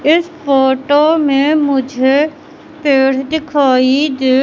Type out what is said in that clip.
इस फोटो में मुझे पेड़ दिखाई दे--